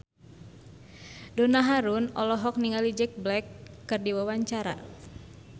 Donna Harun olohok ningali Jack Black keur diwawancara